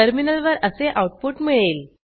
टर्मिनलवर असे आऊटपुट मिळेल